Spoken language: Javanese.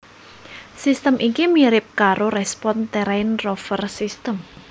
Sistem iki mirip karo Respon Terrain Rover sistem